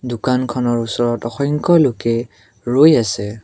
দোকানখনৰ ওচৰত অসংখ্য লোকে ৰৈ আছে।